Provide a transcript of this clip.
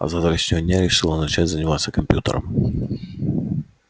а с завтрашнего дня решила начать заниматься компьютером